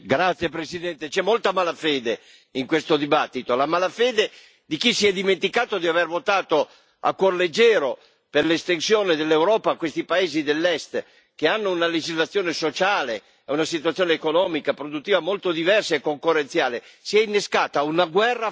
Signor Presidente, onorevoli colleghi, c'è molta malafede in questo dibattito, la malafede di chi si è dimenticato di aver votato a cuor leggero per l'estensione dell'Europa a questi paesi dell'Est, che hanno una legislazione sociale e una situazione economica produttiva molto diversa e concorrenziale.